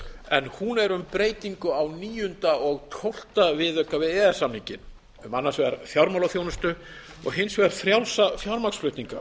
en hún er um breytingu á elleftu og tólfta viðauka við e e s samninginn um annars vegar fjármálaþjónustu og hins vegar frjálsa fjármagnsflutninga